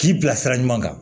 K'i bila sira ɲuman kan